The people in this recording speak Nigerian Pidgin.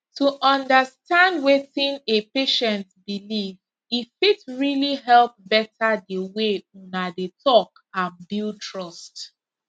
to understand wetin a patient believe e fit really help better the way una dey talk and build trust